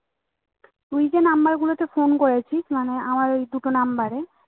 তুই যে number গুলোতে phone করেছিস মানে আমার এই দুটো number এ